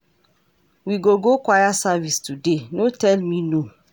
We go go choir service today, no tell me no.